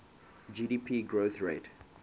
gdp growth rate